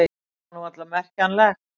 Það var nú varla merkjanlegt.